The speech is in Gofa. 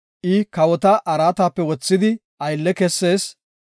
I kawota araatape wothidi aylle kessees.